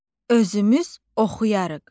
Özümüz oxuyarıq.